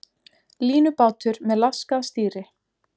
Línubátur með laskað stýri